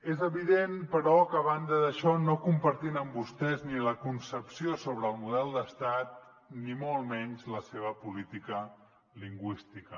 és evident però que a banda d’això no compartim amb vostès ni la concepció sobre el model d’estat ni molt menys la seva política lingüística